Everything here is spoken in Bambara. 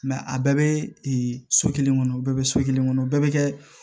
a bɛɛ bɛ so kelen kɔnɔ u bɛɛ bɛ so kelen kɔnɔ o bɛɛ bɛ kɛ